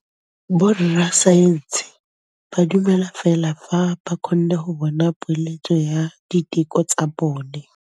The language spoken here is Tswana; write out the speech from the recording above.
Borra saense ba dumela fela fa ba kgonne go bona poeletsô ya diteko tsa bone.